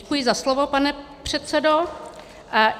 Děkuji za slovo, pane předsedo.